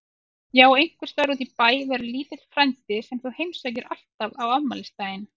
Já og einhvers staðar útí bæ verður lítill frændi sem þú heimsækir alltaf á afmælisdaginn.